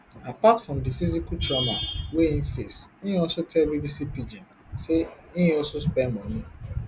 apart from di physical trauma wey im face im also tell bbc pidgin say im also spend money